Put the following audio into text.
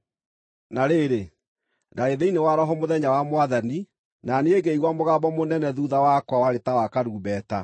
Na rĩrĩ, ndaarĩ thĩinĩ wa Roho Mũthenya wa Mwathani, na niĩ ngĩigua mũgambo mũnene thuutha wakwa warĩ ta wa karumbeta,